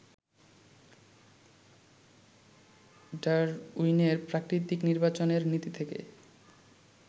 ডারউইনের প্রাকৃতিক নির্বাচনের নীতি থেকে